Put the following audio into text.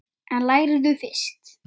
En lærðu fyrst.